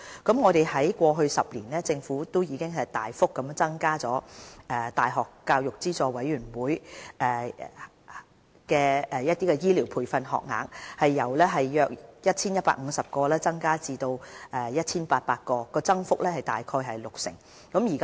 在過去10年，政府已大幅增加大學教育資助委員會資助的醫療培訓學額，由約 1,150 個增至約 1,800 個，增幅約為六成。